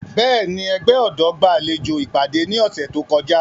Bẹ́ẹ̀ni, ẹgbẹ ọdọ gbalejo ipade ni ọsẹ to kọja.